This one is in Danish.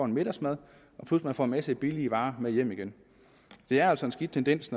middagsmad plus man får en masse billige varer med hjem igen det er altså en skidt tendens